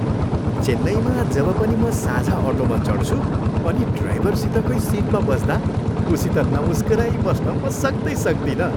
चेन्नईमा जब पनि म साझा अटोमा चढ्छु अनि ड्राइभरसितैको सिटमा बस्दा ऊसित नमुस्कुराई बस्न म सक्दै सक्दिनँ।